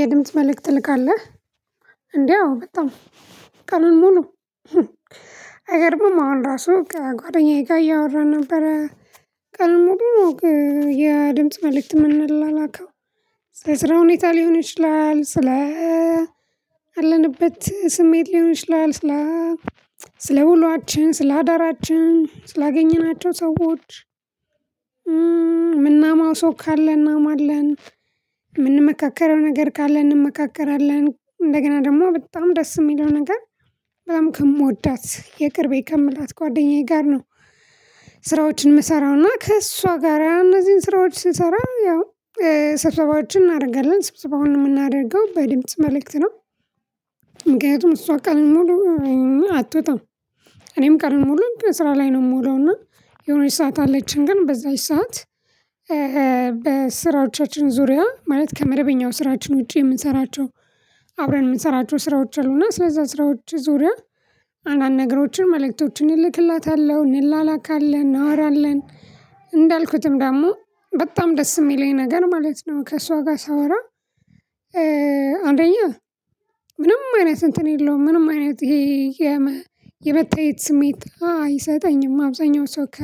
የድምጽ መልእክት ልካለህ? እንዴ አዎ በጣም ቀኑን ሙሉ አይገርምም አሁን ራሱ ከጓደኛዬ ጋር እያወራ ነበረ። ቀኑን ሙሉ የድምጽ መልእክት የምንላከው። ስለ ስራ ሁኔታ ሊሆን ይችላል። ስለ አለንበት ስሜት ሊሆን ይችላል። ስለ ስለ ውሏችን፣ ስለ አዳራችን፣ ስላገኘናቸው ሰዎች፣ የምናማው ሰው ካለ እናማለን። የምንመካከረው ነገር ካለ እንመካከራለን። እንደገና ደግሞ በጣም ደስ የሚለው ነገር በጣም ከምወዳት፣ የቅርቤ ከምላት ጓደኛዬ ጋር ነው። ስራዎችን የምሰራውና ከእሷ ጋር እነዚህን ስራዎች ስንሰራ ያው ሰብሰባዎችን እናደርጋለን። ስብሰባውን የምናደርገው በደምፅ መልእክት ነው። ምክንያቱም እሷ ቀኑን ሙሉ አትወጣም። እኔም ቀኑን ሙሉ ስራ ላይ ነው የምውለው እና የሆነች ሰዓት አለችን ግን በዛች ሰዓት በስራዎቻችን ዙሪያ ማለት ከመደበኛው ስራችን ውጪ የምንሰራቸው አብረን የምንሰራቸው ስራዎች አሉና ስለዛ ስራዎች ዙሪያ አንዳንድ ነገሮችን መልእክቶችን እልክላታለሁ፣ እንላላካለን፣ እናወራለን። እንዳልኩትም ደግሞ በጣም ደስ የሚለኝ ነገር ማለት ነው ከእሷ ጋር ሳወራ አንደኛ ምንም አይነት እንትን የለውም። ምንም አይነት የመታየት ስሜት አይሰጠኝም። አብዛኛው ሰው ከ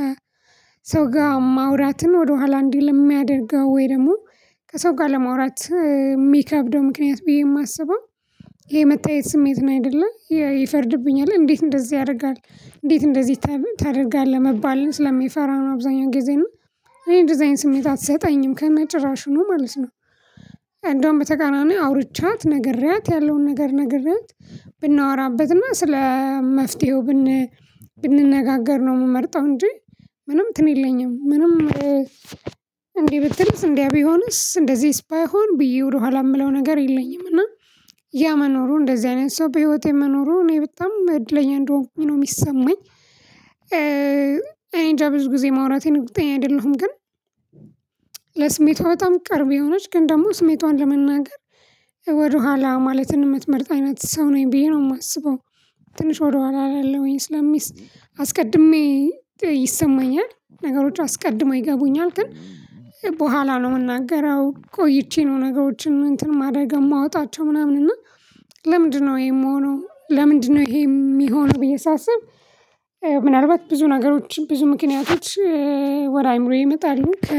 ጋር ማውራትን ወደኋላ እንዲል የሚያደርገው ወይ ደግሞ ከሰው ጋር ለማውራት የሚከብደው ምክንያት ብዬ የማስበው የመታየት ስሜት ነው አይደለ። ይፈርድብኛል እንዴት እንደዚህ ያደርጋል? እንዴት እንደዚህ ታደርጋለህ? መባልን ስለሚፈራው አብዛኛው ጊዜ እና እኔ እንደዚህ አይነት ስሜት አትሰጠኝም ከነጭራሹ ነው ማለት ነው። እንደውም በተቃራኒ አውርቻት፣ ነግሬያት ያለውን ነገር ነግሬያት፤ ብናወራበት እና ስለ መፍትሄው ብን ብንነጋገር ነው የምመርጠው እንጂ ምንም እንትን የለኝም። ምንም እንዴ ብትልስ እንዲያ ቢሆንስ እንደዚህስ ባይሆን ብዬ ወደኋላ የምለው ነገር የለኝም እና ያ መኖሩ እንደዚህ አይነት ሰው በህይወቴ መኖሩ እኔ በጣም እድለኛ እንደሆንኩኝ ነው የሚሰማኝ። እኔ እንጃ ብዙ ጊዜ ማውራቴን እርግጠኛ አይደለሁም ግን ለስሜቷ በጣም ቅርብ የሆነች ግን ደግሞ ስሜቷን ለመናገር ወደኋላ ማለትን ምትመርጥ አይነት ሰው ነኝ ብዬ ነው የማስበው፤ ትንሽ ወደ ኋላ እላለሁኝ ስለሚ አስቀድሜ ይሰማኛል ነገሮች አስቀድሞ ይገቡኛል ግን በኋላ ነው የምናገረው ቆይቼ ነው ነገሮችን እንትን ማደግ የማወጣቸው ምናምን እና ለምንድነው ይሄ የምሆነው? ለምንድነው ይሄ የሚሆነው? ብዬ ሳስብ ምናልባት ብዙ ነገሮች፤ ብዙ ምክንያቶች ወደ አእምሮዬ ይመጣሉ። ከ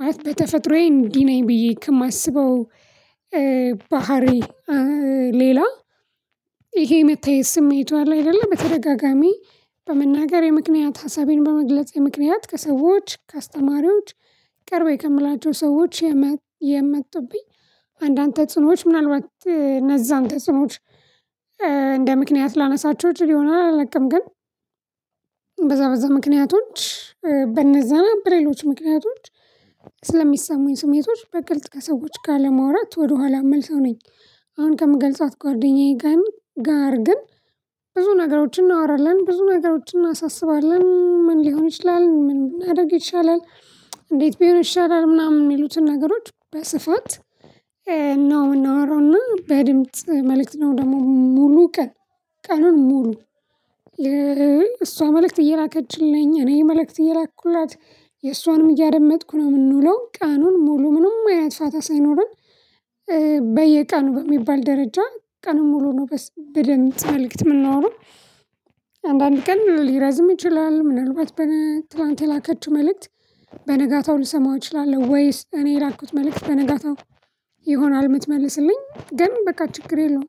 ማለት በተፈጥሮዬ እንዲህ ነኝ ብዬ ከማስበው ባህሪ ሌላ ይሄ የመታየት ስሜቷ አይደለ በተደጋጋሚ በመናገር የምክንያት ሀሳቤን በመግለጽ የምክንያት ከሰዎች ከአስተማሪዎች ቅርቤ ከምላቸው ሰዎች የመጡብኝ አንዳንድ ተፅኖዎች ምናልባት እነዛን ተጽኑዎች እንደ ምክንያት ላነሳቸው እችል ይሆናል አላለቅም ግን በዛ በዛ ምክንያቶች በነዛ በሌሎች ምክንያቶች ስለሚሰሙኝ ስሜቶች በግልጽ ከሰዎች ለመዋራት ወደኋላ የምል ሰው ነኝ። አሁን ከምገልጿት ጓደኛዬ ጋር ግን ብዙ ነገሮችን እናወራለን፤ ብዙ ነገሮችን እናሳስባለን፤ ሊሆን ይችላል፣ ምን ማድረግ ይቻላል? እንዴት ቢሆን ይሻላል? ምናምን የሚሉትን ነገሮች በስፋት ነው የምናወራውና በድምጽ መልእክት ነው ደግሞ ሙሉ ቀን፤ ቀኑን ሙሉ እሷ መልእክት እየላከችልኝ እኔ መልእክት እየላኩላት የእሷንም እያደመጥኩ ነው የምንውለው። ቀኑን ሙሉ ምንም አይነት ፋታ ሳይኖረን በየቀኑ በሚባል ደረጃ፤ ቀኑን ሙሉ ነው በድምጽ መልእክት የምናወራው፤ አንዳንድ ቀን ሊረዝም ይችላል ምናልባት በ ትላንት የላከችው መልእክት በነጋታው ልሰማው እችላለሁ ወይስ እኔ የላኩት መልእክት በነጋታው ይሆናል የምትመልስልኝ ግን በቃ ችግር የለውም።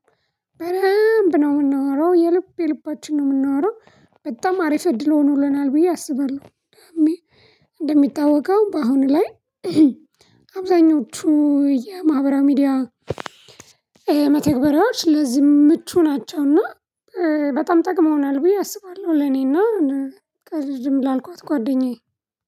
በደንብ ነው የምናወራው የልብ የልባችን ነው የምናወራው በጣም አሪፍ እድል ሆኖልናል ብዬ አስባለሁ። እንደሚታወቀው በአሁኑ ላይ አብዛኞቹ የማህበራዊ ሚዲያ መተግበሪያዎች ለዚ ምቹ ናቸው እና በጣም ጠቅመውናል ብዬ አስባለሁ። ለኔና ቅድም ላልኳት ጓደኛዬ።